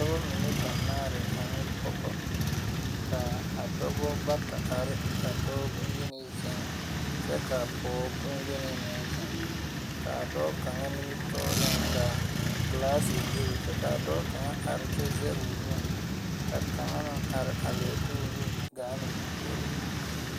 Dɔba mine banaare ane pogɔ kaa a dɔba bata arekyɛ kaa dɔɔ bonyenee zeŋ kyɛ ka pog bonyeni meŋ zeŋ kaa dɔɔ kaŋa nimitooreŋ ka glaase bebe kyɛ kaa dɔɔ kaŋa are kyɛ zege o nu ka kaŋa na are a lie de o nu gaa noo puoriŋ.